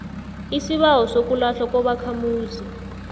isibawo sokulahlwa kobakhamuzi